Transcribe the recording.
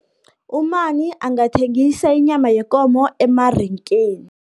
Umani angathengisa inyama yekomo, emarengeni.